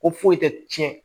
Ko foyi tɛ tiɲɛ